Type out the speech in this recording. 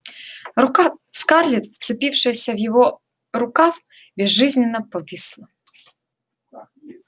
рука скарлетт вцепившаяся в его рукав безжизненно повисла